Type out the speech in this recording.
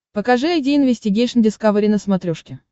покажи айди инвестигейшн дискавери на смотрешке